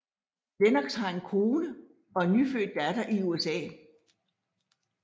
Lennox har en kone og en nyfødt datter i USA